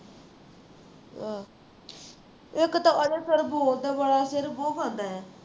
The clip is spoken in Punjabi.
ਇੱਕ ਤਾਂ sir ਬੋਲਦਾ ਬੜਾ ਹੈ ਸਿਰ ਬਹੁਤ ਖਾਂਦਾ ਹੈ